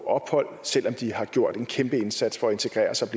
ophold selv om de har gjort en kæmpe indsats for at integrere sig